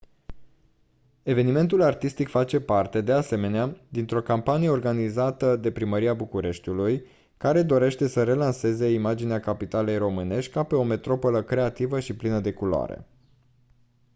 evenimentul artistic face parte de asemenea dintr-o campanie organizată de primăria bucureștiului care dorește să relanseze imaginea capitalei românești ca pe o metropolă creativă și plină de culoare